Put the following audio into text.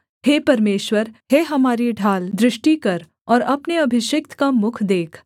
हे परमेश्वर हे हमारी ढाल दृष्टि कर और अपने अभिषिक्त का मुख देख